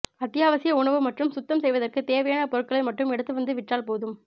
அத்தியாவசிய உணவு மற்றும் சுத்தம் செய்வதற்கு தேவையான பொருட்களை மட்டும் எடுத்து வந்து விற்றால் போதும்